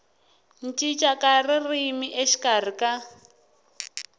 cinca ka ririmi exikarhi ka